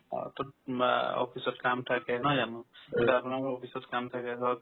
অ অ তো আ office ত কাম থাকে নহয় জানো এতিয়া আপোনাৰ ধৰক office ত কাম থাকে ধৰক